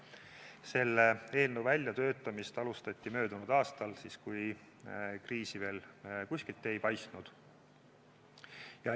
Selle eelnõu väljatöötamist alustati möödunud aastal, siis, kui kriisi veel kuskilt ei paistnud.